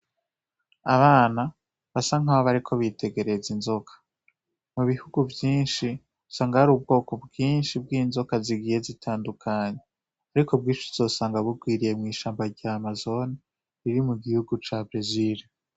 Abana basa nkaho bariko bitegereza inzoka. Mubihugu vyinshi, usanga hari ubwoko bwinshi bwinzoka zigiye zitandukanye, ariko bwinshi uzosanga bugwiriye mwishamba rya Amazon, riri mugihugu ca Brazil.